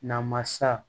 Namasa